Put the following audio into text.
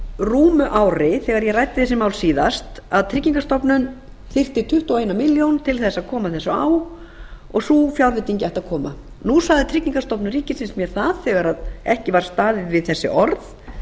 rúmu ári þegar ég ræddi þessi mál síðast að tryggingastofnun þyrfti tuttugu og eina milljón til þess að koma þessu á og sú fjárveiting ætti að koma nú sagði tryggingastofnun ríkisins mér það þegar ekki var staðið við þessi orð